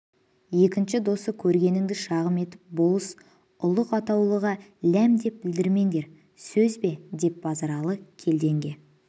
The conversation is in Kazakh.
екінші осы көргеніңді шағым етіп болыс ұлық атаулыға ләмдеп білдірмендер сөз бе деп базаралы келденге